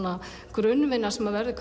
grunnvinna sem verður